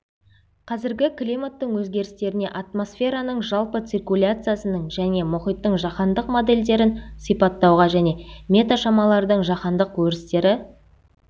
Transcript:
қазіргі климаттың өзгерістеріне атмосфераның жалпы циркуляциясының және мұхиттың жаһандық модельдерін сипаттауға және метеошамалардың жаһандық өрістері